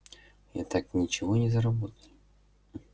я так ничего не заработаю